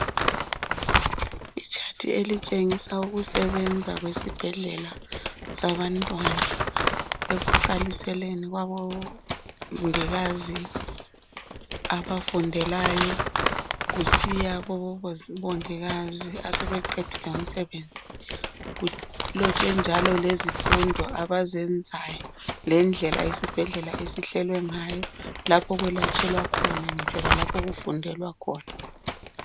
Itshathi elitshengisa ukusebenza kwesibhedlela sabantwana. Ekuqaliseni kubongikazi abafundelayo, kusiya kubongikazi, asebeqedile umsebenzi. Kulotshwe njalo lezifundo abazenzayo. Lendlela isibhedlela esihlelwe ngayo. Lapho okwelatshelwa khona, kanye lalapho okufundelwa khona.